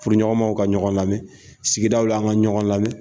Furuɲɔgɔnmaw ka ɲɔgɔn lamɛn sigidaw la an ka ɲɔgɔn lamɛn